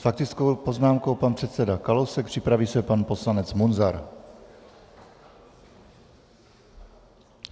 S faktickou poznámkou pan předseda Kalousek, připraví se pan poslanec Munzar.